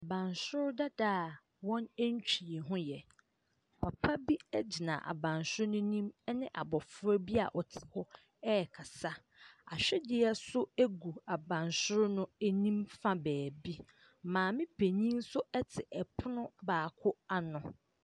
Abansoro dada a wɔntwii ho. Papa bi gyina abansoro no anim ne abofra bi a ɔte hɔ rekasa. Ahwedeɛ no gu abansoro no anim fa baabi. Maame panin nso te pono baako ano.